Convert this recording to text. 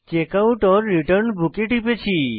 checkoutরিটার্ন book এ টিপেছি